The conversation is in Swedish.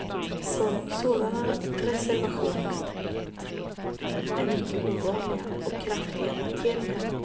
Sådana resevationer är mycket ovanliga och kraftiga markeringar.